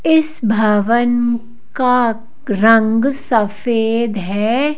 इस भवन का रंग सफेद है।